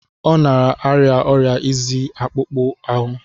Ọ na-arịa ọrịa izi akpụkpọ ahụ.